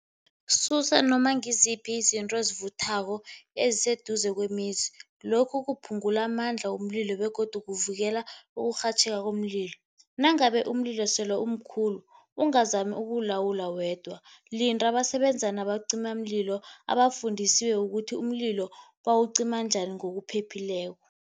Susa noma ngiziphi izinto ezivuthako eziseduze kwemizi, lokhu kuphungula amandla womlilo begodu kuvikela ukurhatjheka komlilo. Nangabe umlilo sele umkhulu, ungazami ukuwulawula wedwa, linda abasebenza nabacimamlilo abafundisiwe ukuthi umlilo bawucima njani ngokuphephileko.